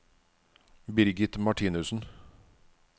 Birgit Martinussen